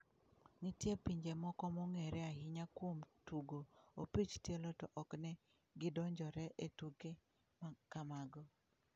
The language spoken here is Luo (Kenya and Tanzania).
Nitie pinje moko mong'ere ahinya kuom tugo opich tielo to ok ne gidonjre e tuke ma kamago.